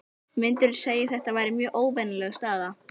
Myndirðu segja að þetta væri mjög óvenjuleg staða?